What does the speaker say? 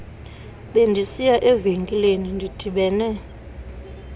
bendisiya evenkileni ndidibene